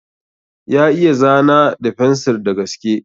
Ya iya zana da fensir da gaske.